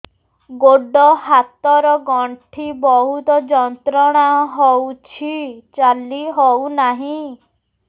ଗୋଡ଼ ହାତ ର ଗଣ୍ଠି ବହୁତ ଯନ୍ତ୍ରଣା ହଉଛି ଚାଲି ହଉନାହିଁ